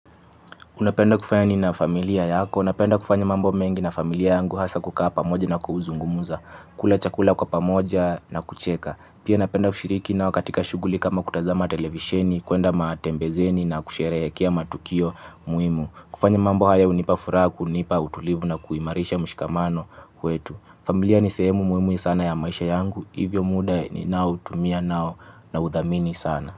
Unapenda kufanya nini na familia yako. Napenda kufanya mambo mengi na familia yangu hasa kukaa pamoja na kuzungumza. Kula chakula kwa pamoja na kucheka. Pia napenda kushiriki nao katika shughuli kama kutazama televisheni, kuenda matembezeni na kusherehekea matukio muhimu. Kufanya mambo haya hunipa furaha kunipa utulivu na kuimarisha mshikamano kwetu. Familia ni sehemu muhimu sana ya maisha yangu. Hivyo muda ninao utumia nao nauthamini sana.